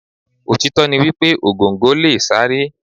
Òtítọ́ ni wípé Ògòǹgò lè sáré.